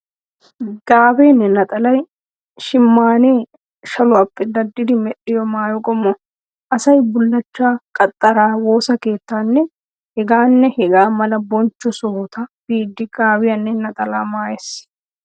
Gaabeenne naxalay shimaynnee shaluwaappe daddidi medhdhiyo maayo qommo. Asay bullachchaa, qaxxaraa woosa keettaanne hegaanne hegaa mala bonchcho sohota biiddi gaabiyaanne naxalaa maayees.